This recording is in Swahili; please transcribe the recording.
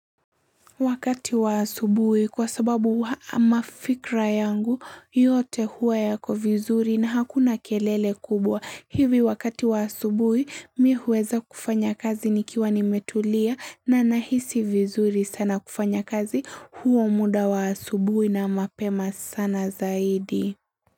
Wakati wa asubuhi kwa sababu mafikra yangu yote huwa yako vizuri na hakuna kelele kubwa. Hivi wakati wa asubuhi mi huweza kufanya kazi nikiwa nimetulia na nahisi vizuri sana kufanya kazi huo muda wa asubui na mapema sana zaidi.